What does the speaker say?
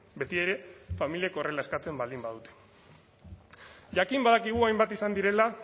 beti ere familiek horrela eskatzen baldin badute jakin badakigu hainbat izan direla